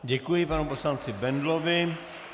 Děkuji panu poslanci Bendlovi.